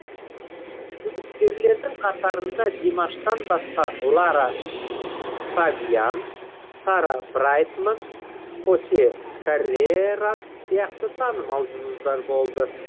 үміткерлердің қатарында димаштан басқа лара фабиан сара брайтман хосе каррерас сияқты танымал жұлдыздар болды